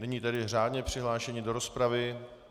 Nyní tedy řádně přihlášení do rozpravy.